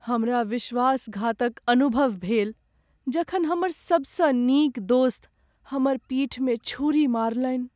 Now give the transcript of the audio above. हमरा विश्वासघातक अनुभव भेल जखन हमर सभसँ नीक दोस्त हमर पीठमे छुरी मारलनि।